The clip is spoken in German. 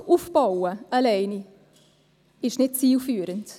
Alleine Druck aufzubauen, ist nicht zielführend.